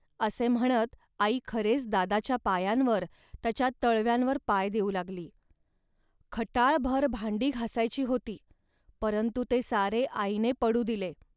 असे म्हणत आई खरेच दादाच्या पायांवर, त्याच्या तळव्यांवर पाय देऊ लागली. खटाळभर भांडी घासायची होती, परंतु ते सारे आईने पडू दिले